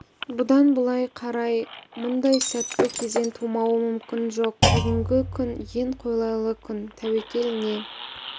бұдан былай қарай мұндай сәтті кезең тумауы мүмкін жоқ бүгінгі күн ең қолайлы күн тәуекел не